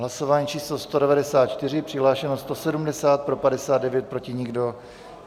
Hlasování číslo 194, přihlášeno 170, pro 59, proti nikdo.